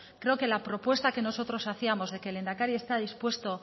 creo que la propuesta que nosotros hacíamos de que el lehendakari está dispuesto